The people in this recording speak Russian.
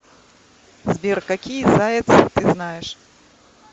сбер какие заяц ты знаешь